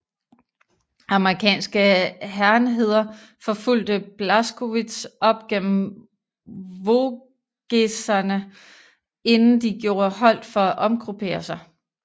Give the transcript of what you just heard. Amerikanske hærenheder forfulgte Blaskowitz op gennem Vogeserne inden de gjorde holdt for at omgruppere sig